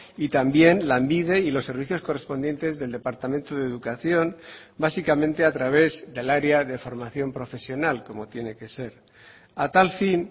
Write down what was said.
y también lanbide y los servicios correspondientes del departamento de educación básicamente a través del área de formación profesional como tiene que ser a tal fin